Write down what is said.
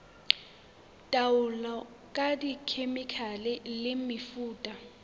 taolo ka dikhemikhale le mefuta